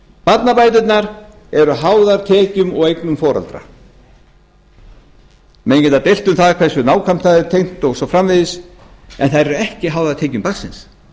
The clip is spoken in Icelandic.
barnabæturnar eru háðar tekjum og eignum foreldra menn geta deilt um hversu nákvæmlega það er tengt og svo framvegis en þær eru ekki háðar tekjum barnsins